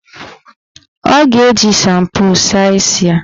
Ọ ga-eji shampo saa isi ya.